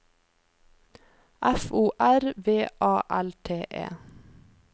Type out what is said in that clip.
F O R V A L T E